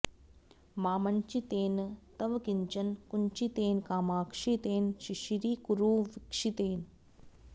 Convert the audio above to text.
मामञ्चितेन तव किंचन कुञ्चितेन कामाक्षि तेन शिशिरीकुरु वीक्षितेन